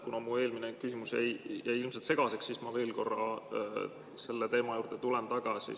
Kuna mu eelmine küsimus jäi ilmselt segaseks, siis ma veel korra tulen selle teema juurde tagasi.